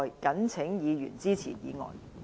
謹請議員支持議案。